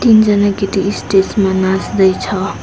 तीनजना केटी स्टेज मा नाच्दै छ।